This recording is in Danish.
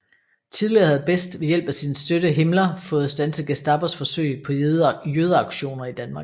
Tidligere havde Best ved hjælp af sin støtte Himmler fået standset Gestapos forsøg på jødeaktioner i Danmark